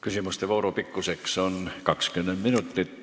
Küsimuste vooru pikkus on 20 minutit.